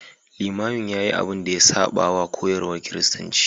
Limamin ya yi abin da ya saba wa koyarwar Kiristanci.